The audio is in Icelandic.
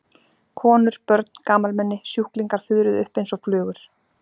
Jóhann: Og hvernig leigir maður flugvél?